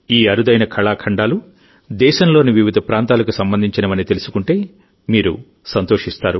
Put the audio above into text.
ఈ అరుదైన కళాఖండాలు దేశంలోని వివిధ ప్రాంతాలకు సంబంధించినవని తెలుసుకుంటే మీరు సంతోషిస్తారు